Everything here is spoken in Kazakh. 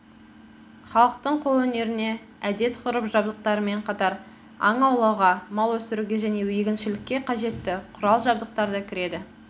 халықтың қолөнеріне әдет-ғұрып жабдықтарымен қатар аң аулауға мал өсіруге және егіншілікке қажетті құралдар-жабдықтар да кіреді